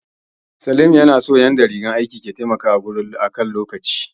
Salim ya na son yadda rigar aikin ke taimakawa wurin adana lokaci